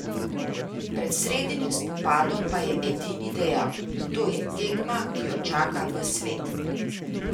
Pred sredinim spopadom pa je ''Edini'' dejal: ''To je tekma, ki jo čaka ves svet.